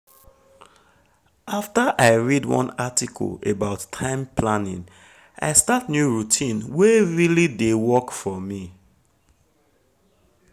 after i read one article about time planning i start new routine wey really dey work for me. work for me.